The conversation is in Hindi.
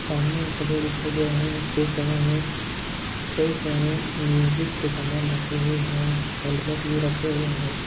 सामने दिखाई दे रहा है यह में कई सारे म्यूजिक के सामान रखे हुए है हेलमेट भी रखे हुए है।